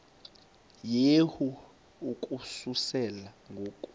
yehu ukususela ngo